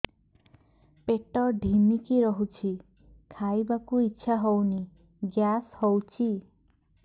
ପେଟ ଢିମିକି ରହୁଛି ଖାଇବାକୁ ଇଛା ହଉନି ଗ୍ୟାସ ହଉଚି